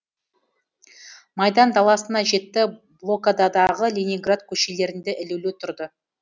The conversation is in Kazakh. майдан даласына жетті блокададағы ленинград көшелерінде ілулі тұрды